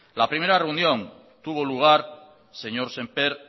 la primera reunión tuvo lugar señor sémper